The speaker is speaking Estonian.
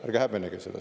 Ärge häbenege seda.